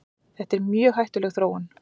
Þetta er mjög hættuleg þróun.